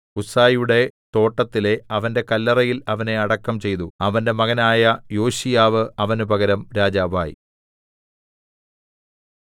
ഉസ്സയുടെ തോട്ടത്തിലെ അവന്റെ കല്ലറയിൽ അവനെ അടക്കം ചെയ്തു അവന്റെ മകനായ യോശീയാവ് അവന് പകരം രാജാവായി